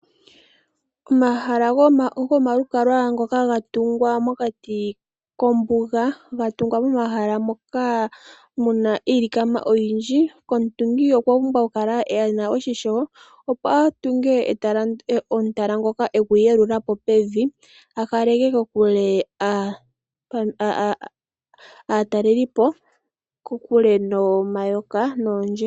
Omahala gomalukalwa ngoka ga tungwa mokati kombuga, ga tungwa momahala moka mu na iilikama oyindji, omutungi okwa pumbwa okukala e na oshimpwiyu, opo a tunge omutala gwa yeluka po pevi a kaleke aatalelipo kokule nomayoka noondje.